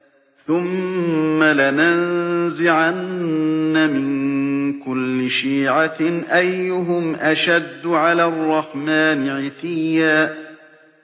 ثُمَّ لَنَنزِعَنَّ مِن كُلِّ شِيعَةٍ أَيُّهُمْ أَشَدُّ عَلَى الرَّحْمَٰنِ عِتِيًّا